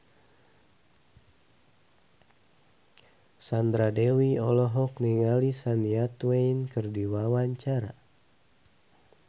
Sandra Dewi olohok ningali Shania Twain keur diwawancara